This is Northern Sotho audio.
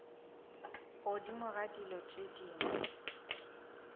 godimo ga dilo tše dingwe